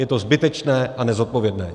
Je to zbytečné a nezodpovědné.